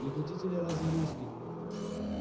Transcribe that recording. не хотите ли разве русских